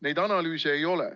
Neid analüüse ei ole.